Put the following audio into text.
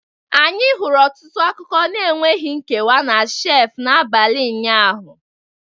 Anyị hụrụ ọtụtụ akụkọ na-enweghị nkewa na shelf n'abalị ụnyaahụ